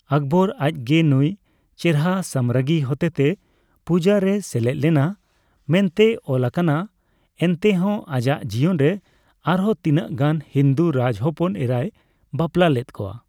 ᱟᱠᱵᱚᱨ ᱟᱡᱜᱮ ᱱᱩᱭ ᱪᱮᱨᱦᱟ ᱥᱟᱢᱨᱟᱜᱽᱜᱤ ᱦᱚᱛᱮᱛᱮ ᱯᱩᱡᱟ ᱨᱮᱭ ᱥᱮᱞᱮᱫ ᱞᱮᱱᱟ ᱢᱮᱱᱛᱮ ᱚᱞ ᱟᱠᱟᱱᱟ ᱮᱱᱛᱮ ᱦᱚᱸ ᱟᱡᱟᱜ ᱡᱤᱭᱚᱱ ᱨᱮ ᱟᱨᱦᱚᱸ ᱛᱤᱱᱟᱹᱜ ᱜᱟᱱ ᱦᱤᱱᱫᱩ ᱨᱟᱡᱽᱦᱚᱯᱚᱱ ᱮᱨᱟᱭ ᱵᱟᱯᱞᱟ ᱞᱮᱫ ᱠᱚᱣᱟ ᱾